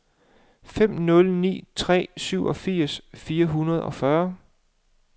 fem nul ni tre syvogfirs fire hundrede og fyrre